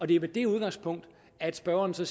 det er med det udgangspunkt at spørgeren så